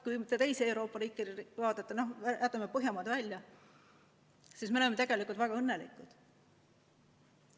Kui mõnda teist Euroopa riiki vaadata – noh jätame Põhjamaad välja –, siis nendega võrreldes me oleme tegelikult väga õnnelikud.